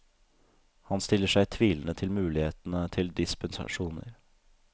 Han stiller seg tvilende til mulighetene til dispensasjoner.